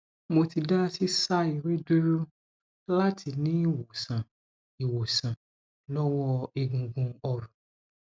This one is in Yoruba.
mo ti da sisa ere duro lati ni iwonsan iwonsan lowo egungun orun